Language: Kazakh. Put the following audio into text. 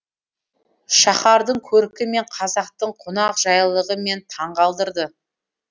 шаһардың көркі мен қазақтың қонақжайлығы мені таңғалдырды